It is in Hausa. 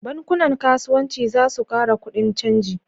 Bankunan kasuwanci za su kara kudin caji